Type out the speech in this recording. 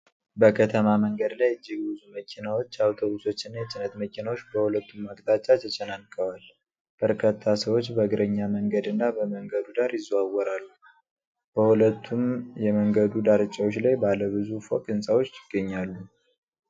በከተማ መንገድ ላይ እጅግ ብዙ መኪናዎች፣ አውቶቡሶች እና የጭነት መኪናዎች በሁለቱም አቅጣጫ ተጨናንቀዋል:: በርካታ ሰዎች በእግረኛ መንገድና በመንገዱ ዳር ይዘዋወራሉ:: በሁለቱም የመንገዱ ዳርቻዎች ላይ ባለ ብዙ ፎቅ ሕንፃዎች ይገኛሉ::